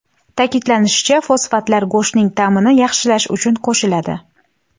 Ta’kidlanishicha, fosfatlar go‘shtning ta’mini yaxshilash uchun qo‘shiladi.